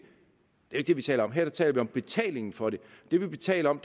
det er det vi taler om her taler vi om betalingen for det det vi taler om